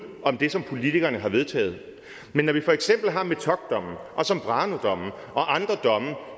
om det som politikerne har vedtaget men når vi for eksempel har metocdommen og zambranodommen og andre domme